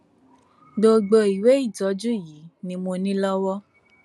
gbogbo ìwé ìtọjú yìí ni mo ní lọwọ